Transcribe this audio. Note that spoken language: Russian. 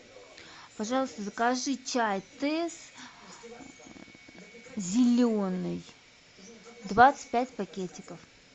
пожалуйста закажи чай тесс зеленый двадцать пять пакетиков